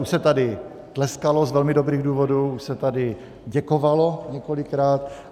Už se tady tleskalo z velmi dobrých důvodů, už se tady děkovalo několikrát.